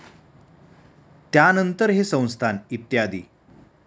त्यानंतर हे संस्थान इ.